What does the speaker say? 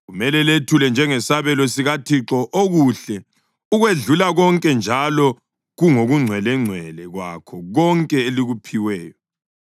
Kumele lethule njengesabelo sikaThixo okuhle ukwedlula konke njalo kungokungcwelengcwele kwakho konke elikuphiweyo.’